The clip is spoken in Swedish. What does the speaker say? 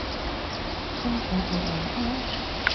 N A N N A